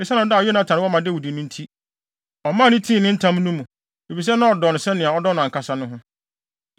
Esiane ɔdɔ a Yonatan wɔ ma Dawid no nti, ɔmaa no tii ne ntam no mu, efisɛ na ɔdɔ no sɛnea ɔdɔ ɔno ankasa ho.